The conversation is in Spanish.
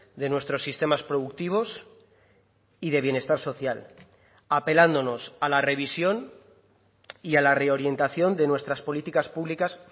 de nuestros sistemas productivos y de bienestar social apelándonos a la revisión y a la reorientación de nuestras políticas públicas